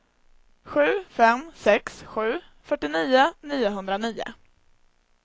sju fem sex sju fyrtionio niohundranio